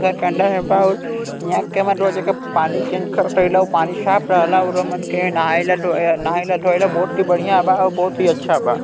घर का अंदर माँ बहुत यहाँ कमा रोज़ एका पानी चेंज करोत होही ला अउ पानी साफ रहला अउरो मन के नहा इ नहाइला धोयला बहोत ही बढ़िया बा बहोत ही अच्छा बा--